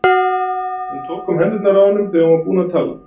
Hún tók um hendurnar á honum þegar hún var búin að tala.